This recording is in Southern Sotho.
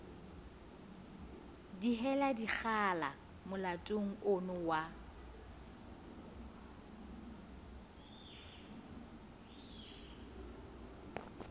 dihela dikgala molatong ono wa